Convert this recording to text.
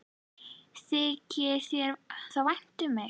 Þykir þér þá vænt um mig?